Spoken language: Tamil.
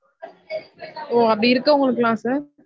ஒ அப்டி இருக்கவங்களுக்குளான் sir